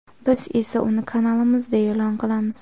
Biz esa uni kanalimizda e’lon qilamiz.